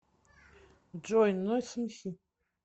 джой нойз эмси